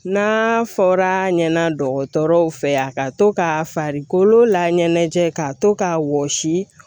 N'a fɔra ɲɛna dɔgɔtɔrɔw fɛ ya ka to ka farikolo laɲɛnajɛ ka to k'a wɔsi